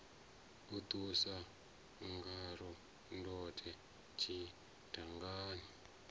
a ṱusa ngaḽo ndode tshidangani